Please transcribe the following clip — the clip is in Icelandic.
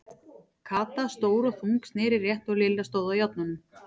Kata, stór og þung, sneri rétt og Lilla stóð á járnunum.